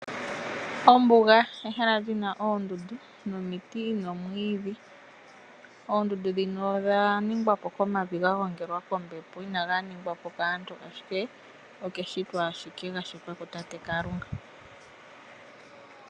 Ombuga ehala lina oondundu nomiti noomwiidhi. Oondundu dhino odha ningwapo komavi gagongelwa kombepo inaga ningwapo kaantu okeshito ashike ganingwapo kutate Kalunga.